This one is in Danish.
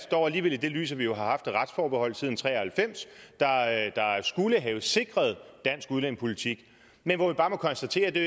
dog alligevel i det lys at vi har haft et retsforbehold siden nitten tre og halvfems der skulle have sikret dansk udlændingepolitik men hvor vi bare må konstatere at det